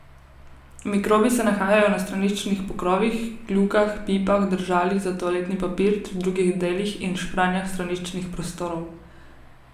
Mikrobi se nahajajo na straniščnih pokrovih, kljukah, pipah, držalih za toaletni papir ter drugih delih in špranjah straniščnih prostorov.